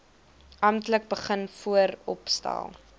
amptelik begin vooropstel